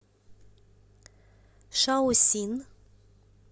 шаосин